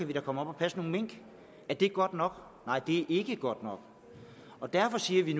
de da komme og passe nogle mink er det godt nok nej det er ikke godt nok og derfor siger vi